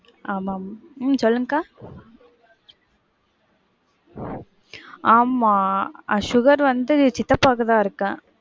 ஆமா. உம் சொல்லுங்க அக்கா. ஆமா அஹ் sugar வந்து சித்தப்பாக்கு தான் இருக்கு.